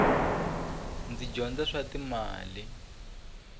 ndzi dyondza swa timali